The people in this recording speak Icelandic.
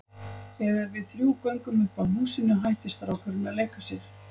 Þegar við þrjú göngum upp að húsinu hættir strákurinn að leika sér.